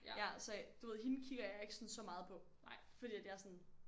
Ja så du ved hende kigger jeg ikke sådan så meget på fordi jeg er sådan